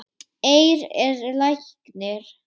Eir er læknir